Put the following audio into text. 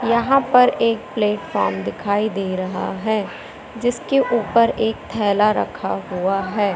यहां पर एक प्लेटफार्म दिखाई दे रहा है जिसके ऊपर एक थैला रखा हुआ है।